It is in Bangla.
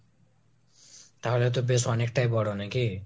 তাহলে তো বেশ অনেকটাই বড়ো নাকি ?